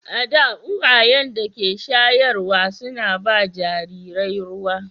A da, uwayen da ke shayarwa suna ba jarirai ruwa.